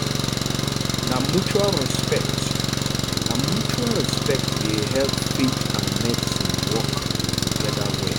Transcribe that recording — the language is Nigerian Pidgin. na mutual respect na mutual respect dey help faith and medicine wok togeda well